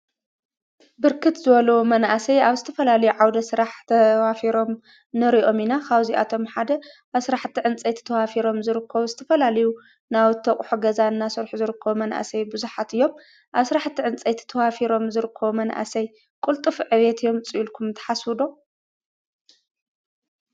ብርክት ዝበሉ መናእሰይ ኣብ ዝተፈላለዩ ዓውደ ስራሕ ተዋፊሮም ንሪኦም ኢና፡፡ ካብዚአቶም ሓደ ኣብ ስራሕቲ ዕንፀይቲ ተዋፊሮም ዝርከቡ ዝተፈላለዩ ናውቲ አቑሑ ገዛ እናሰርሑ ዝርከቡ መናእሰይ ቡዙሓት እዮም፡፡ አብ ስራሕቲ ዕንፀይቲ ተዋፊሮም ዝርከቡ መናእሰይ ቅልጡፍ ዕቤት የምፅኡ ኢልኩም ትሓስቡ ዶ?